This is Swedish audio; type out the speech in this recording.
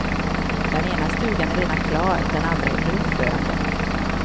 Den ena stugan är redan klar, den andra under uppförande.